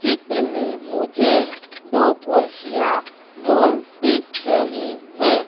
चित्र में मुझे दो कुर्सियां गोल दिख रही हैं।